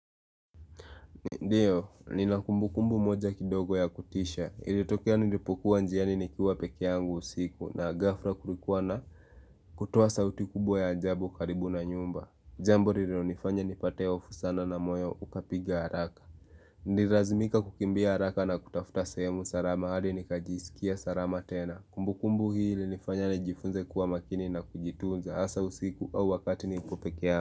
Ndiyo, nina kumbu kumbu moja kidogo ya kutisha, ilitokea nilipokuwa njiani nikiwa peke yangu usiku na gafhra kurikuwa na kutuwa sauti kubwa ya ajabu karibu na nyumba, jambo nililo nifanya nipate hofu sana na moyo ukapiga haraka Nilirazimika kukimbia haraka na kutafuta sehemu sarama, hadi nika jisikia sarama tena Kumbu kumbu hili nifanya nijifunze kuwa makini na kujitunza, asa usiku au wakati nilipo pekea.